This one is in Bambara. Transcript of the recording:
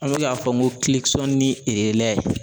An bɛ k'a fɔ n ko ni